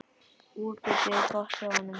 Útlitið er gott hjá honum.